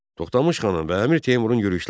Toxtamış xanın və Əmir Teymurun yürüşləri.